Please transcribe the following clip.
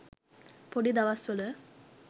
පොඩි දවස්වල.